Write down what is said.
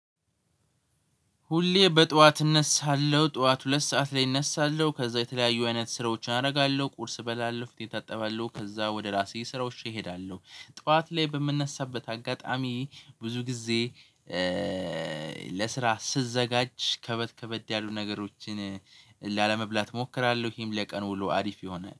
ሁሌ በጠዋት እነሳለሁ ጠዋት ሁለት ሰዓት ላይ እነሳለሁ ከዛ የተለያዩ አይነት ስራዎችን አረጋለሁ ቁርስ እበላለው ፊቴን እታጠባለሁ ከዛ ወደ ራሴ ስራዎቼ እሄዳለሁ። ጠዋት ላይ በምነሳበት አጋጣሚ ብዙ ጊዜ እእ ለስራ ስዘጋጅ ከበድ ከበድ ያሉ ነገሮችን ላለመብላት እሞክራለሁ። ይሄም ለቀን ውሎ አሪፍ ይሆናል